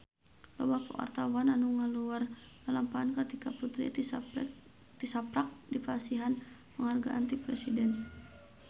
Loba wartawan anu ngaguar lalampahan Kartika Putri tisaprak dipasihan panghargaan ti Presiden